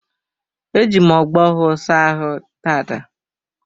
Eji m ogbo ọhụụ saa ahụ taata